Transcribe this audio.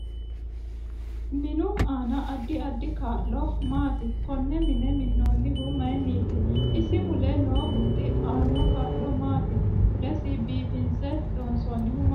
MINu aano addi addi kaa'lo maati konne mine minoonihu mayiiniti isi mule noo huxxi aano kaalo maati mulesi biifinse loonsoonihu maati